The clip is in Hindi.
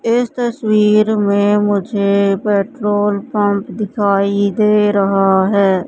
इस तस्वीर में मुझे पेट्रोल पंप दिखाई दे रहा है।